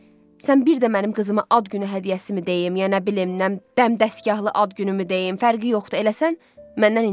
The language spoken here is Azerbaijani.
Sən bir də mənim qızıma ad günü hədiyyəsi mi deyim, yəni nə bilim, nə dəmdəsgahlı ad günümü deyim, fərqi yoxdur, eləsən məndən incimə.